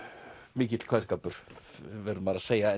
mikill kveðskapur verður maður að segja